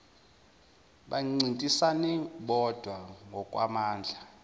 bancintisane bodwa ngokwamandla